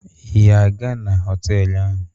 Ị ga-aga na họtelụ ahụ?